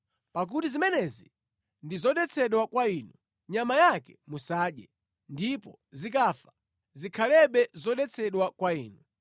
Pakuti zimenezi ndi zodetsedwa kwa inu, nyama yake musadye, ndipo zikafa zikhalebe zodetsedwa kwa inu.